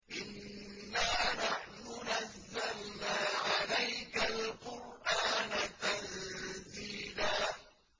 إِنَّا نَحْنُ نَزَّلْنَا عَلَيْكَ الْقُرْآنَ تَنزِيلًا